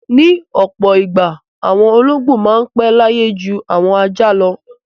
Ní ọ̀pọ̀ ìgbà àwọn olóńgbò máa pẹ́ láyé ju àwọn ajá lọ.